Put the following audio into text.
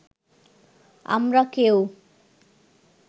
আমরা কেউ